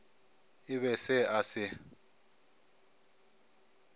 e be se a se